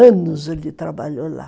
Anos ele trabalhou lá.